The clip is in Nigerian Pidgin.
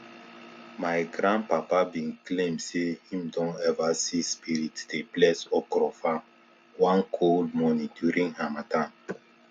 my grandpapa bin claim say him don ever see spirit dey bless okro farm one cold morning during harmattan